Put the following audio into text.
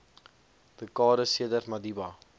dekades sedert madiba